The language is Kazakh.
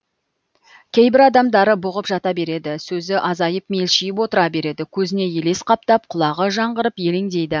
кейбір адамдар бұғып жата береді сөзі азайып мелшиіп отыра береді көзіне елес қаптап құлағы жаңғырып елеңдейді